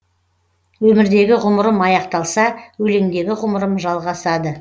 өмірдегі ғұмырым аяқталса өлеңдегі ғұмырым жалғасады